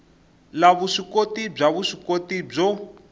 la vuswikoti bya vuswikoti byo